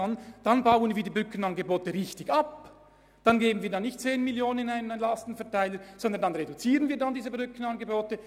Dann übertragen wir nicht mehr 10 Mio. Franken an die Gemeinden, sondern reduzieren diese Angebote.